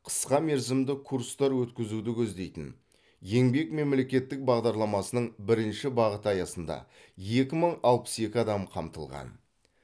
қысқамерзімді курстар өткізуді көздейтін еңбек мемлекеттік бағдарламасының бірінші бағыты аясында екі мың алпыс екі адам қамтылған